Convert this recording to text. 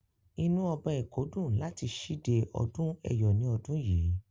Inú Ọba èkó dùn láti síde ọdún ẹ̀yọ̀ ní ọdún yìí.